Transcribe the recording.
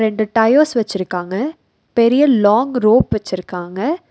ரெண்டு டயர்ஸ் வெச்சிருக்காங்க பெரிய லாங் ரோப் வெச்சிருக்காங்க.